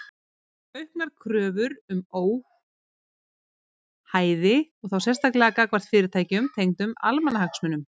Auknar kröfur um óhæði og þá sérstaklega gagnvart fyrirtækjum tengdum almannahagsmunum.